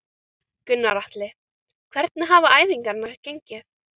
Gunnar Atli: Hvernig hafa æfingar gengið?